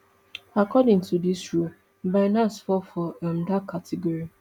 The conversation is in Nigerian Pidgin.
according to dis rule binance fall for um dat category